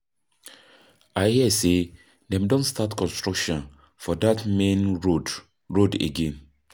I hear say dem don start construction for dat main road road again.